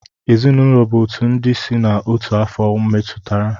Ezinụlọ bụ otu ndị si na otu afo metụtara.